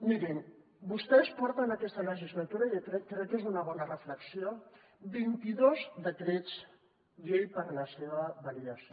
mirin vostès porten aquesta legislatura i crec que és una bona reflexió vint idos decrets llei per a la seva validació